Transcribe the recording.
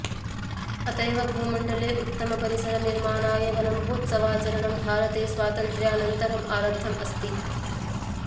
अत एव भूमण्डले उत्तमपरिसर निर्माणाय वनमहोत्सवाचरणं भारते स्वातन्त्र्यानन्तरम् आरब्धम् अस्ति